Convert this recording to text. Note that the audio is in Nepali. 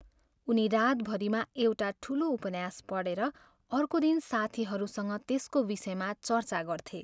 उनी रातभरिमा एउटा ठुलो उपन्यास पढेर अर्को दिन साथीहरूसँग त्यसको विषयमा चर्चा गर्थे।